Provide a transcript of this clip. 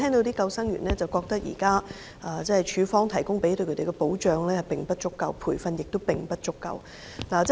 不過，救生員卻認為署方為他們提供的保障及培訓並不足夠。